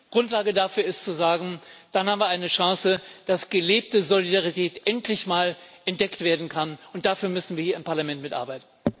Grundlage dafür ist zu sagen Dann haben wir eine Chance, dass gelebte Solidarität endlich mal entdeckt werden kann, und dafür müssen wir hier im Parlament mitarbeiten.